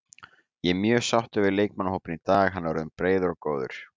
Ég er mjög sáttur við leikmannahópinn í dag, hann er orðinn breiður og góður.